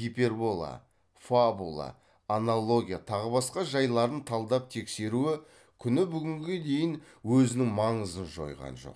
гипербола фабула аналогия тағы басқа жайларын талдап тексеруі күні бүгінге дейін өзінің маңызын жойған жоқ